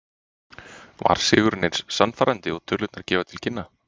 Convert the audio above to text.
Var sigurinn eins sannfærandi og tölurnar gefa til kynna?